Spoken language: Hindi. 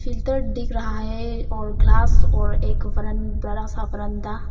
फ़िल्टर दिख रहा है और ग्लास और एक बरन बड़ा सा बरांडा --